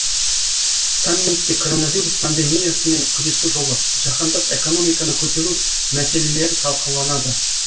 саммитте коронавирус пандемиясымен күресу жолы жаһандық экономиканы көтеру мәселелері талқыланады